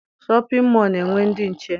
Shọpịn mọọ na_enwe ndị nche